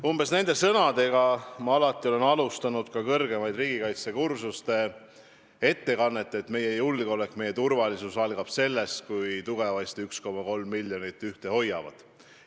Olen kõrgematel riigikaitsekursustel alustanud oma ettekannet alati umbes selliste sõnadega, et meie julgeolek, meie turvalisus algab sellest, kui tugevasti 1,3 miljonit ühte hoiavad.